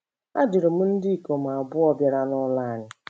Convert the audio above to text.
Ajụrụ m ndị ikom abụọ bịara n'ụlọ anyị.